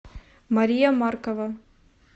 мария маркова